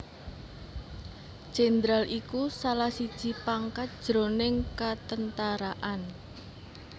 Jéndral iku salah siji pangkat jroning katentaraan